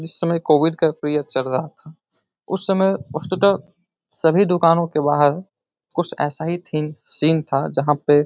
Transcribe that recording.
इस समय कोविड का पीरियड चल रहा था। उस समय वस्तुतः सभी दुकानों के बाहर कुछ ऐसा ही थीम सीन था यहाँ पे --